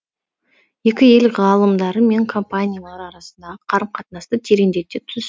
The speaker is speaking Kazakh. екі ел ғалымдары мен компаниялары арасындағы қарым қатынасты тереңдете түс